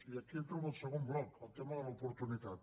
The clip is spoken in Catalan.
i aquí entro en el segon bloc el tema de l’oportunitat